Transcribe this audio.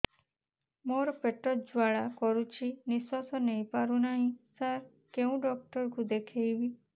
ମୋର ପେଟ ଜ୍ୱାଳା କରୁଛି ନିଶ୍ୱାସ ନେଇ ପାରୁନାହିଁ ସାର କେଉଁ ଡକ୍ଟର କୁ ଦେଖାଇବି